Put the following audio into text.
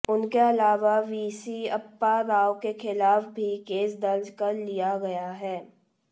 उनके अलावा वीसी अप्पा राव के खिलाफ भी केस दर्ज कर लिया गया है